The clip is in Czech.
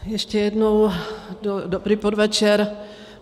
Ještě jednou dobrý podvečer.